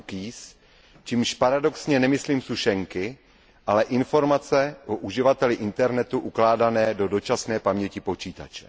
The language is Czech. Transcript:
cookies, čímž paradoxně nemyslím sušenky, ale informace o uživateli internetu ukládané do dočasné paměti počítače.